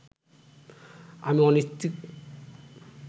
আমি অনিচ্ছুক